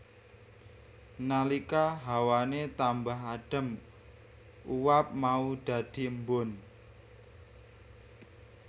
Nalika hawane tambah adem uap mau dadhi embun